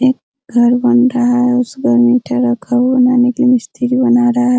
एक घर बन रहा है | उस पर इटा रखा हुआ है यानि मिस्त्री बना रहा है |